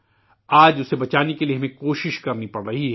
آج اسے بچانے کے لیے ہمیں کوششیں کرنی پڑ رہی ہیں